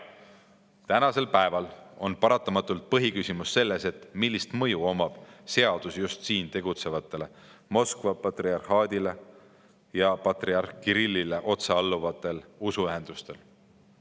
Jah, praegu on paratamatult põhiküsimus selles, milline mõju on seadusel just siin tegutsevatele Moskva patriarhaadile ja patriarh Kirillile otse alluvatele usuühendustele.